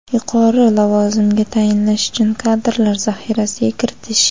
yuqori lavozimga tayinlash uchun kadrlar zaxirasiga kiritish;.